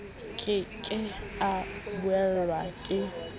ke ke a buellwa ke